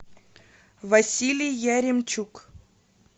василий яремчук